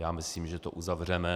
Já myslím, že to uzavřeme.